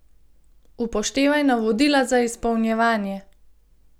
Upoštevaj navodila za izpolnjevanje.